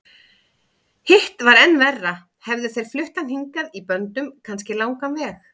Hitt var enn verra, hefðu þeir flutt hann hingað í böndum, kannski langan veg.